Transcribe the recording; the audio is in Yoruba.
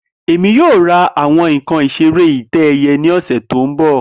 Emi yoo ra awọn nkan isere itẹ-ẹiyẹ ni ọsẹ to nbọ